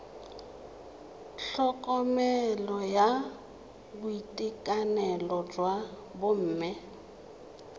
tlhokomelo ya boitekanelo jwa bomme